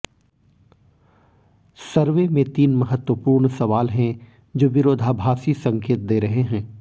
सर्वे में तीन महत्वपूर्ण सवाल हैं जो विरोधाभाषी संकेत दे रहे हैं